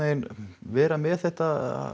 vera með þetta